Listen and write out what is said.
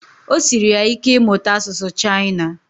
Ọ siri ya ike ịmụta asụsụ chaina